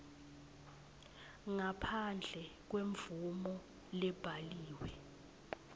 ngaphandle kwemvumo lebhaliwe